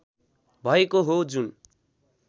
भएको हो जुन